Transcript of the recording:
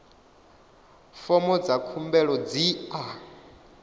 fomo dza khumbelo dzi a